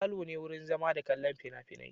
Falo ne wurin zama da kallon fina-finai.